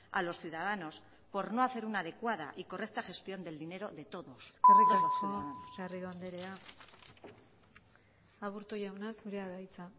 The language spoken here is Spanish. a los ciudadanos por no hacer una adecuada y correcta gestión del dinero de todos eskerrik asko garrido andrea aburto jauna zurea da hitza